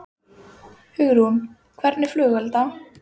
Hvernig skyldi Garðari ganga að takast á við gagnrýnina?